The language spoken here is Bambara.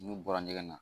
N'u bɔra ɲɛgɛn na